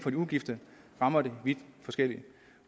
er ugift rammer det vidt forskelligt